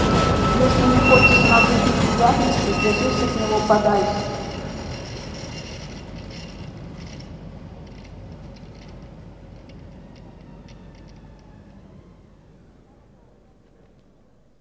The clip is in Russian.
если не хочешь нажить неприятностей держись от него подальше